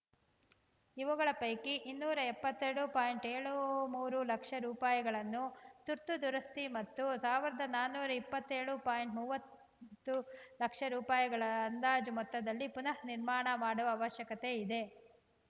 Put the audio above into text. ಇವುಗಳ ಪೈಕಿ ಇನ್ನೂರ ಎಪ್ಪತ್ತೆರಡು ಪಾಯಿಂಟ್ ಏಳು ಮೂರು ಲಕ್ಷ ರೂಪಾಯಿಗಳನ್ನು ತುರ್ತು ದುರಸ್ತಿ ಮತ್ತು ಸಾವಿರದ ನಾನೂರ ಇಪ್ಪತ್ಯೋಳು ಪಾಯಿಂಟ್ ಮೂವತ್ತು ಲಕ್ಷ ರೂಪಾಯಿಗಳ ಅಂದಾಜು ಮೊತ್ತದಲ್ಲಿ ಪುನರ್‌ ನಿರ್ಮಾಣ ಮಾಡುವ ಅವಶ್ಯಕತೆ ಇದೆ